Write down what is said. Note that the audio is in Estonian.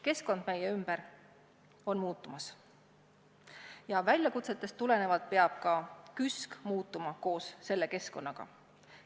Keskkond meie ümber on muutumas ja väljakutsetest tulenevalt peab ka KÜSK muutuma koos keskkonnaga.